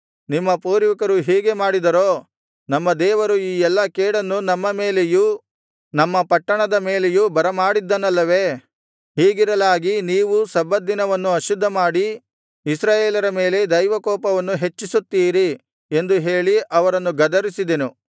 ನಿಮ್ಮ ಪೂರ್ವಿಕರು ಹೀಗೆ ಮಾಡಿದರೋ ನಮ್ಮ ದೇವರು ಈ ಎಲ್ಲಾ ಕೇಡನ್ನು ನಮ್ಮ ಮೇಲೆಯೂ ನಮ್ಮ ಪಟ್ಟಣದ ಮೇಲೆಯೂ ಬರಮಾಡಿದ್ದನಲ್ಲವೇ ಹೀಗಿರಲಾಗಿ ನೀವೂ ಸಬ್ಬತ್ ದಿನವನ್ನು ಅಶುದ್ಧಮಾಡಿ ಇಸ್ರಾಯೇಲರ ಮೇಲೆ ದೈವಕೋಪವನ್ನು ಹೆಚ್ಚಿಸುತ್ತೀರಿ ಎಂದು ಹೇಳಿ ಅವರನ್ನು ಗದರಿಸಿದೆನು